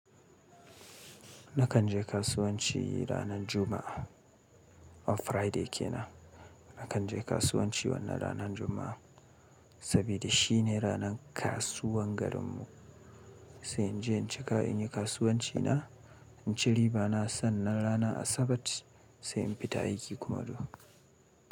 Nakan je kasuwanci ranar Juma'a. Ran Friday kenan. Nakan je kasuwanci wannan ranar Juma'a, saboda shi ne ranar kasuwan garinmu. Sai in je in cika, in yi kasuwanci na, in ci riba. Bana son nan rana Asabar sai in fita aiki kuma du.